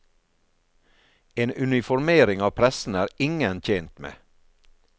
En uniformering av pressen er ingen tjent med.